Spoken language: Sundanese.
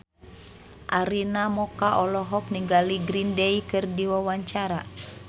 Arina Mocca olohok ningali Green Day keur diwawancara